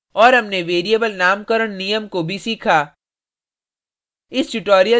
और हमनें variable नामकरण नियम को भी सीखा